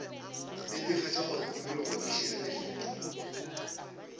netefatša gore tikologo e šireleditšwe